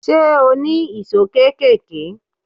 Ṣé o ní ìṣó kéékèèké?